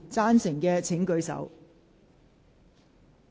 贊成的請舉手。